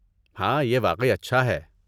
ہاں، یہ واقعی اچھا ہے۔